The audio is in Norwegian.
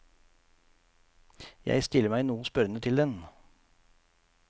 Jeg stiller meg noe spørrende til den.